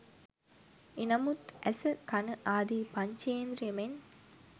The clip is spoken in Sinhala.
එනමුත් ඇස, කණ, ආදී පංචේන්ද්‍රිය මෙන්